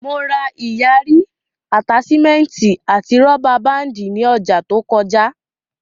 Mo ra ìyarí, àtáṣímẹ́ẹ̀tì àti rọ́bà báàndì ní ọjà to kọjá